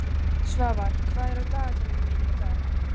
Svafar, hvað er á dagatalinu mínu í dag?